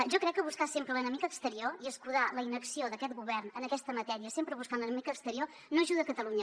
jo crec que buscar sempre l’enemic exterior i escudar la inacció d’aquest govern en aquesta matèria sempre buscant l’enemic exterior no ajuda catalunya